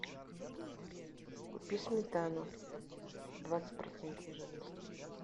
купи сметану двадцать процентов жирности